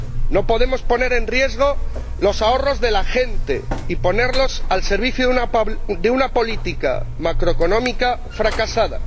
No podemos poner en riesgo los ahorros de la gente y ponerlos al servicio de una política macroeconómica fracasada.